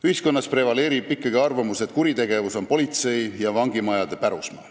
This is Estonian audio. Ühiskonnas prevaleerib ikkagi arvamus, et kuritegevusega võitlemine on politsei ja vangimajade pärusmaa.